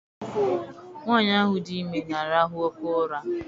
Nwaanyi ahụ dị ime na-arahụ oké ụra.